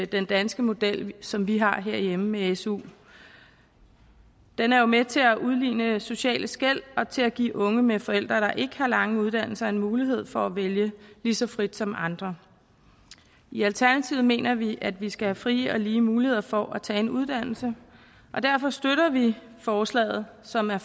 den danske model som vi har herhjemme med su den er jo med til at udligne sociale skel og til at give unge med forældre der ikke har lange uddannelser en mulighed for at vælge lige så frit som andre i alternativet mener vi at vi skal have frie og lige muligheder for at tage en uddannelse og derfor støtter vi forslaget som er